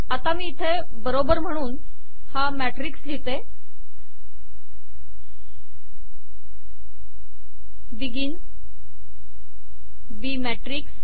आता मी येथे बरोबर म्हणून हा मॅट्रिक्स लिहिते बेगिन b मॅट्रिक्स